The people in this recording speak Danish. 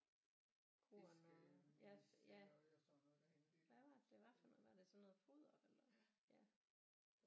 Korn og ja ja hvad var det det var for noget var det sådan noget foder ja ja